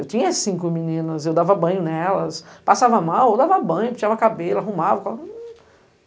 Eu tinha cinco meninas, eu dava banho nelas, passava mal, eu dava banho, penteava cabelo, arrumava.